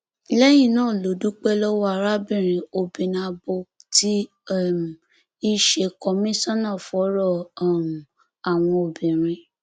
lẹyìn náà ló dúpẹ lọwọ arábìnrin obinabo tí um í ṣe kọmíṣánná fọrọ um àwọn obìnrin